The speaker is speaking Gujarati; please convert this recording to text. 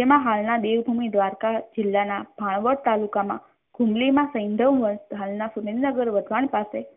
જેમાં હાલના દેવભૂમિ દ્વારકા જિલ્લાના માળવા તાલુકામાં હુમલીમાં વંશ હાલના